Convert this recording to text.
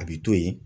A bi to yen